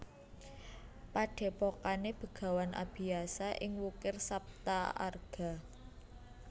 Padhepokane Begawan Abiyasa ing Wukir Saptaarga